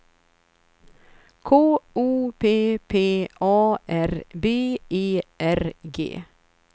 K O P P A R B E R G